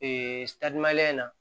Ee in na